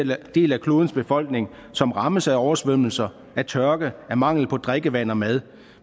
del af klodens befolkning som rammes af oversvømmelser af tørke af mangel på drikkevand og mad